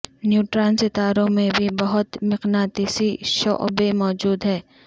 neutron ستاروں میں بھی بہت مقناطیسی شعبیں موجود ہیں